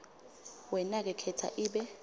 wenake khetsa ibe